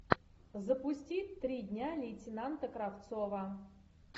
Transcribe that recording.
запусти три дня лейтенанта кравцова